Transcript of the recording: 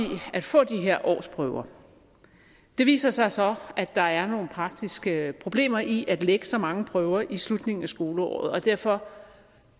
at få de her årsprøver det viser sig så at der er nogle praktiske problemer i at lægge så mange prøver i slutningen af skoleåret og derfor